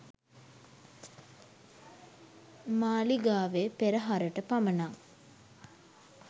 මාලිගාවේ පෙරහරට පමණක්